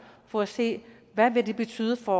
for at se hvad det vil betyde for